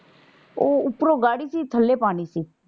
ਉਹ ਉਪਰੋਂ ਗਾੜੀ ਸੀ ਥੱਲੇ ਪਾਣੀ ਸੀ।